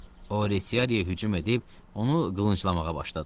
O Retiariyə hücum edib onu qılınclamağa başladı.